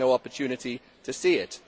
I have had no opportunity to see it.